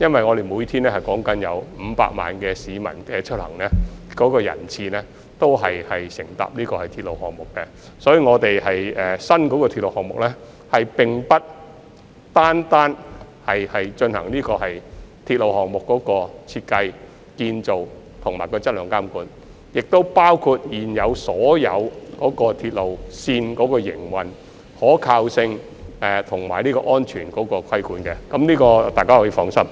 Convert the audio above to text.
我們每天有高達500萬名市民出行，其中不少選乘鐵路，所以新鐵路部門並不會單單進行新建鐵路項目的設計、建造和質量監管，亦包括對所有現有鐵路線的營運、可靠性和安全規管，這點大家可以放心。